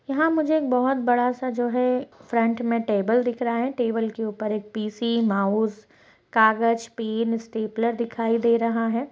यहाँ मुझे एक बहुत बड़ा-सा जो है फ्रन्ट में टेबल दिख रहा है। टेबल के ऊपर एक पी.सी. माउस कागज पैन स्टेपलेर दिखाई दे रहा है।